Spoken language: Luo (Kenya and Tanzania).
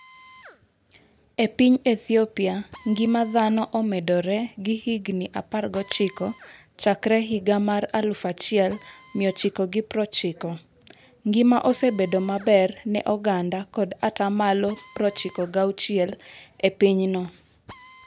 E piny Ethiopia, ngima dhano omedore gi higni 19 Chakre 1990, ngima osebedo maber ne oganda kod ata malo 96 e pinyno.